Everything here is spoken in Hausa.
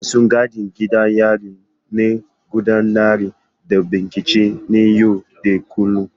Masu gadin gidan yari na gudanar da bincike na yau da kullun.